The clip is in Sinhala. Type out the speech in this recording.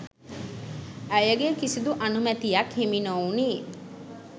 ඇයගේ කිසිදු අනුමැතියක් හිමි නොවුණි.